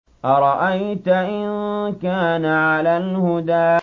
أَرَأَيْتَ إِن كَانَ عَلَى الْهُدَىٰ